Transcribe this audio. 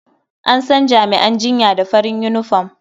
An san jami'an jinya da farin yunifom.